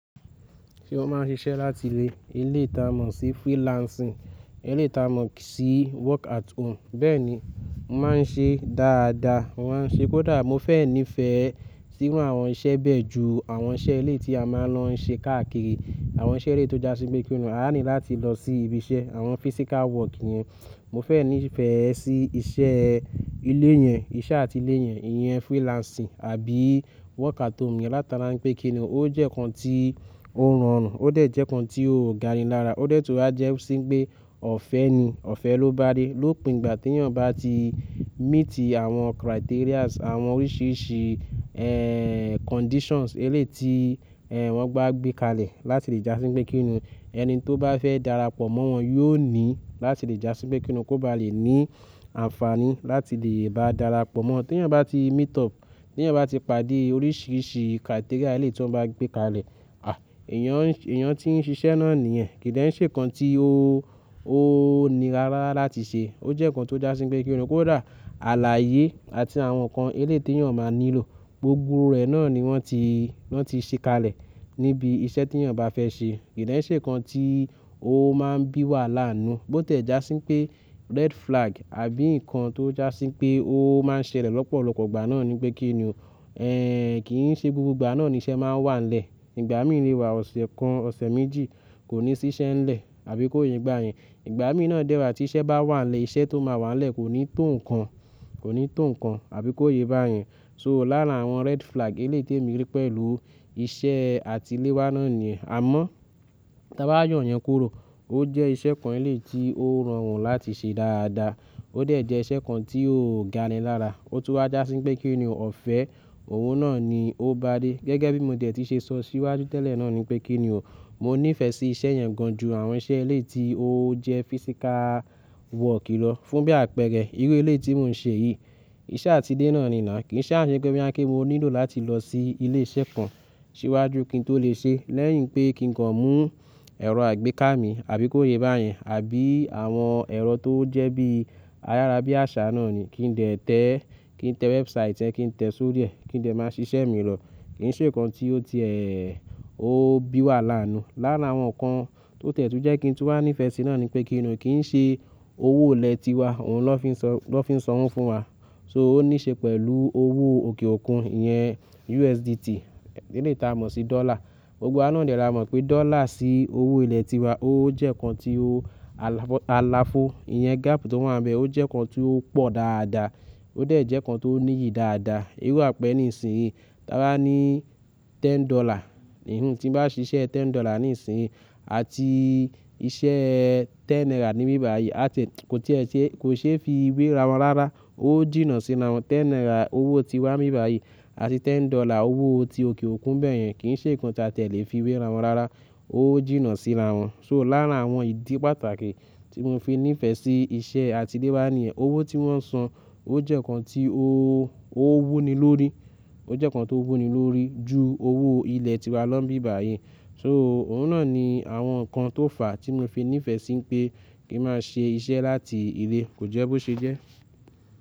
Tí wọ́n máa ń ṣiṣẹ́ láti ilé, elétà mọ̀ sí freelancing, elétà mọ̀ sí work at home. Bẹ́ẹ̀ ni, mo máa ń ṣe dáadáa, maa n ṣe kódà mo fẹ́ nífẹ̀ẹ́ sí irù àwọn iṣẹ́ bẹ́ẹ̀ ju àwọn iṣẹ́ eleyi tí a máa ń lọ ṣe káàkiri, àwọn iṣẹ́ eleyié tó já sí pé kíni, à ní láti lọ sí ibi iṣẹ́, àwọn physical work yẹn. Mo fẹ́ nífẹ̀ẹ́ sí iṣẹ́ ilé yẹn, iṣẹ́ àti ilé yẹn, ìyẹn freelancing àbí work at home yẹn látara pé kíni o, ó jẹ́ nǹkan tí ó rọrùn, ó dẹ̀ jẹ́ nǹkan tí ó ga ni lára, ó de tuú á jẹ́ sí pé ọ̀fẹ́ ni, ọ̀fẹ́ ló bá dé lópin ìgbà tí ènìyàn bá ti meet àwọn criterias, àwọn oríṣiríṣi, ẹ́, conditions elé ti, ẹ́, wọ́n bá gbé kalẹ̀ láti lè já sí pé kíni, ẹni tó bá fẹ́ darapọ̀ mọ́ wọn yóò ní láti lè já sí pé kíni kó bá lè ní àǹfààní láti lè bá darapọ̀ mọ́. Tí ènìyàn bá ti meet up, tí ènìyàn bá ti pàdé oríṣiríṣi criteria elé tí wọ́n bá gbé kalẹ̀, à, èyàn, èyàn tí ń ṣiṣẹ́ náà nìyẹn kì í de ń se nǹkan tí ó, ó nira rárá láti ṣe, ó jẹ́ nǹkan tó já sí pé kíni kó dà, àláyé àti àwọn nǹkan elé tí èyàn máa nílò gbogbo rẹ̀ náà ni wọ́n ti, wọ́n ti ṣe kalẹ̀ níbi iṣẹ́ tí ènìyàn bá fẹ́ ṣe. Kì í de ṣe nǹkan tí ó máa ń bí wàhala n nú, bó tẹ̀ já sí pé red flag àbí nǹkan tó já sí pé ó máa ń ṣẹlẹ̀ lọ́pọ̀lọpọ̀ ìgbà náà ni pé kíni o, ẹ́, kì í ṣe gbogbo ìgbà náà ni iṣẹ́ máa ń wà nílẹ̀. Ìgbà mí le wà ọ̀ṣẹ̀ kan, ọ̀ṣẹ̀ méjì kò ní sí iṣẹ́ nílẹ̀ àbí kó ye bá yẹn. Ìgbà mí náà dẹ́wa tí iṣẹ́ bá wà nlẹ̀, iṣẹ́ tó máa wà nlẹ̀ kò ní tó nǹkan, kò ní tó nǹkan àbí kó ye bá yẹn. So lárá àwọn red flag elé tèmi rí pẹ̀lú iṣẹ́ àti ilé wá náà ni yen, àmọ́ tí a bá yo yen kúrò ó jẹ́ iṣẹ́ kan elé tí ó rọrùn láti ṣe dáadáa, ó dẹ̀ jẹ́ iṣẹ́ kan tí ó ga ni lára, ó tún wá já sí pé kíni o ọ̀fẹ́ òun náà ni ó bá dé. Gẹ́gẹ́ bí mo dẹ̀ ti ṣe sọ síwájú tẹ́lẹ̀ náà ni pé kíni o, mo nífẹ̀ẹ́ sí iṣẹ́ yẹn gan ju àwọn iṣẹ́ elé tí ó jẹ́ physical work lọ fún bí àpẹẹrẹ irú elé tí mò ń ṣe yìí, iṣẹ́ àti ilé náà ni náà kì í ṣe àṣẹ pé bí à kí mo nílò láti lọ sí ilé iṣẹ́ kan síwájú kí n tó lè ṣe lẹ́yìn pé kí n kan mú ẹ̀rọ àgbéká mi àbí kó ye bá yẹn àbí àwọn ẹ̀rọ tó jẹ́ bí ayára bí àṣà náà ni, kí n dẹ̀ tẹ́, kí n tẹ website ẹ, kí n tẹ soro ri e, kí n dẹ̀ máa ṣiṣẹ́ mi rọ̀, kì í ṣe nǹkan tí ó ti, ẹ́ẹ́, ó bí wàhala n nú. Lárà àwọn nǹkan tó tẹ̀ tún jẹ́ kí n tún wà nífẹ̀ẹ́ sí náà ni pé kíni o kì í ṣe owó ilẹ̀ tiwa òun ló fi ń sọ, ló fi ń sọ wọ́n fún wa. So ó níí ṣe pẹ̀lú owó òkè òkun yẹn, USDT elétà mọ̀ sí dollar. Gbogbo wá de la mọ̀ pé dollar sí owó ilẹ̀ tiwa ó jẹ́ nǹkan tí ó alàfo, ìyẹn gap tó wà bẹ́ẹ̀ ó jẹ́ nǹkan tí ó pò dáadáa, ó dẹ̀ jẹ́ nǹkan tó níyi dáadáa. Irú àpẹ́ẹ̀rẹ nìsìnyí, ta bá ní ten dollar, ìhun tí n bá ṣiṣẹ́ ten dollar nìsìnyí àti iṣẹ́ ten naira níbí báyìí, a ti, kò tí ì ṣe, kò ṣe é fi wé ra wọn rárá, ó jìnnà síra wọn. Ten naira owó tiwa níbí báyìí àti ten dollar owó ti òkè òkun bẹ́ẹ̀ yẹn kì í ṣe nǹkan tí a lè fi wé ra wọn rárá, ó jìnnà síra wọn. So láàárín àwọn ìdí pàtàkì tí mò ń fi nífẹ̀ẹ́ sí iṣẹ́ àti ilé wá ni ẹ, owó tí wọ́n san ó jẹ́ nǹkan tí ó, ó wú ni lórí, ó jẹ́ nǹkan tó wú ni lórí ju owó ilẹ̀ tiwa lọ níbí báyìí. So òun náà ni àwọn nǹkan tó fà á tí mò ń fi nífẹ̀ẹ́ sí pé kí máa ṣe iṣẹ́ láti ilé, kò jẹ́ bó ṣe jẹ́.